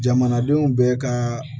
Jamanadenw bɛɛ ka